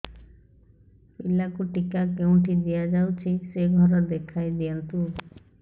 ପିଲାକୁ ଟିକା କେଉଁଠି ଦିଆଯାଉଛି ସେ ଘର ଦେଖାଇ ଦିଅନ୍ତୁ